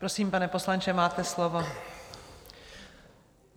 Prosím, pane poslanče, máte slovo.